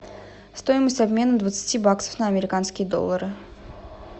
стоимость обмена двадцати баксов на американские доллары